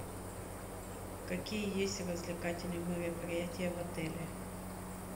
какие есть развлекательные мероприятия в отеле